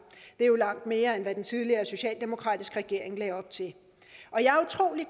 det er jo langt mere end hvad den tidligere socialdemokratiske regering lagde op til